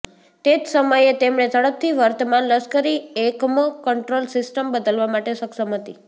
તે જ સમયે તેમણે ઝડપથી વર્તમાન લશ્કરી એકમો કંટ્રોલ સિસ્ટમ બદલવા માટે સક્ષમ હતી